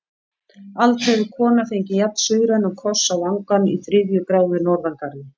Aldrei hefur kona fengið jafn-suðrænan koss á vangann í þriðju gráðu norðangarði.